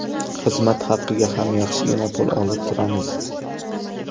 Xizmat haqqiga ham yaxshigina pul olib turamiz.